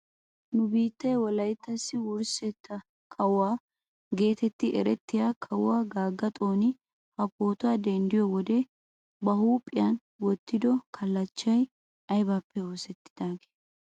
Nu biittee wolayttasi wurssetta kawuwaa getetti erettiyaa kawuwaa gaagga xooni ha pootuwaa denddiyoo wode ba huuphphiyaa wottido kallachchay aybippe oosettidagee?